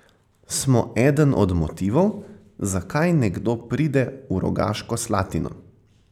Smo eden od motivov, zakaj nekdo pride v Rogaško Slatino.